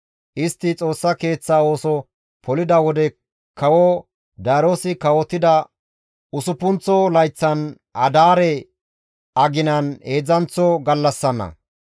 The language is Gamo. Istti Xoossa Keeththaa ooso polida wodey kawo Daariyoosi kawotida usuppunththo layththan adaare aginan heedzdzanththo gallassanna.